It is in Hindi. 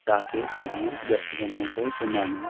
गा के सभी दर्शकगणों को सुनाना --